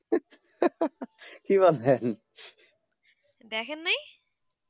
দেখেন নাই